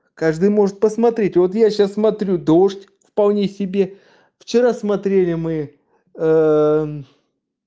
каждый может посмотреть вот я сейчас смотрю дождь вполне себе вчера смотрели мы